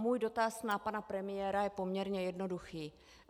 Můj dotaz na pana premiéra je poměrně jednoduchý.